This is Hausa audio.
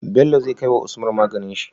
Bello zai kai wa usman maganin shi?